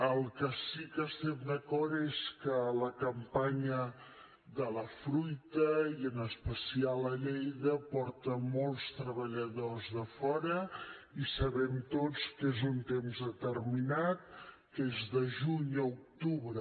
en el que sí que estem d’acord és que la campanya de la fruita i en especial a lleida porta molts treballadors de fora i sabem tots que és un temps determinat que és de juny a octubre